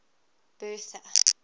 bertha